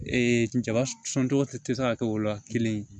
jaba sɔ tɔgɔ tɛ se ka kɛ o la kelen